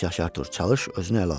Yaxşı, yaxşı, Artur, çalış özünü ələ al.